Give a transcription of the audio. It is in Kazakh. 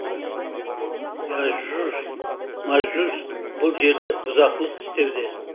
яжұж мажұж бұл жерде бұзақылық істеуде